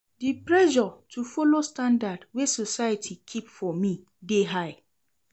Di pressure to folo standard wey society keep for me dey high.